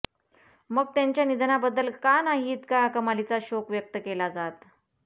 मग त्यांच्या निधनाबद्दल का नाही इतका कमालीचा शोक व्यक्त केला जात